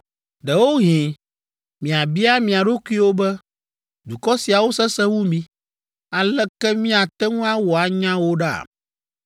Ɖewohĩ miabia mia ɖokuiwo be, “Dukɔ siawo sesẽ wu mí, aleke míate ŋu awɔ anya wo ɖa?”